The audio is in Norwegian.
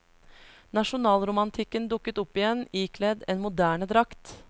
Nasjonalromantikken dukket opp igjen, ikledd en moderne drakt.